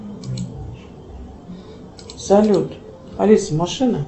салют алиса машина